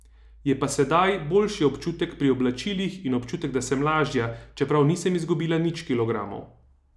Je pa sedaj boljši občutek pri oblačilih in občutek, da sem lažja, čeprav nisem izgubila nič kilogramov.